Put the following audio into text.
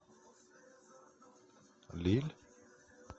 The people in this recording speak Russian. лилль